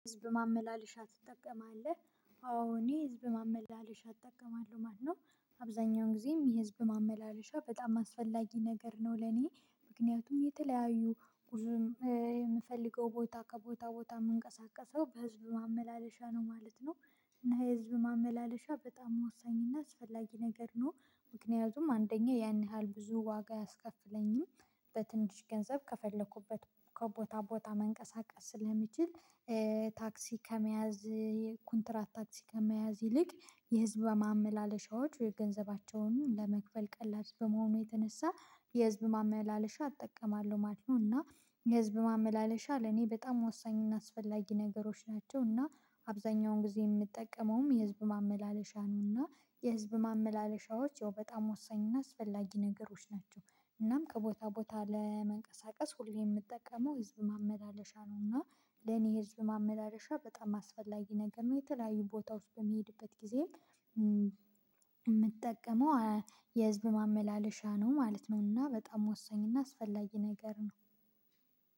ህዝብ ማመላለሻ ትጠቀማለህ? አዎ እኔ ህዝብ ማመላለሻ እጠቀማለሁ ማለት ነው። አብዛኛውን ጊዜም የህዝብ ማመላለሻ በጣም አስፈላጊ ነገር ነው ለኔ። ምክንያቱም የተለያዩ ጉዞ የምፈልገው ቦታ ከቦታ ቦታ ምንቀሳቀሰው በህዝብ ማመላለሻ ነው ማለት ነው። እና የህዝብ ማመላለሻ በጣም ወሳኝና አስፈላጊ ነገር ነው ምክንያቱም አንደኛ ያን ያህል ብዙ ዋጋ አያስከፍለኝም በትንሽ ገንዘብ ከፈለኩበት ከቦታ ቦታ መንቀሳቀስ ስለሚችል ታክሲ ከመያዝ ኮንትራት ታክሲ ከመያዝ ይልቅ የህዝብ ማመላለሻዎች ወይ ገንዘባቸውን ለመክፈል ቀላል በመሆኑ የተነሳ የህዝብ ማመላለሻ እጠቀማለሁ ማለት እና የህዝብ ማመላለሻ ለኔ በጣም ወሳኝና አስፈላጊ ነገሮች ናቸው እና አብዛኛውን ጊዜ ምጠቀመውም የህዝብ ማመላለሻ ነው የህዝብ ማመላለሻዎች ያው በጣም ወሳኝ እና አስፈላጊ ነገሮች ናቸው እናም ከቦታ ቦታ ለመንቀሳቀስ ሁሌ የምጠቀመው ህዝብ ማመላለሻ ነውና ለኔ ህዝብ ማመላለሻ በጣም አስፈላጊ ነገር ነው የተለያዩ ቦታዎች በምሄድበት ጊዜ የምጠቀመው የህዝብ ማመላለሻ ነው ማለት ነውና በጣም ወሳኝና አስፈላጊ ነገር ነው